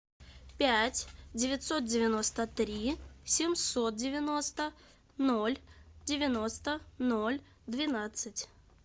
пять девятьсот девяносто три семьсот девяносто ноль девяносто ноль двенадцать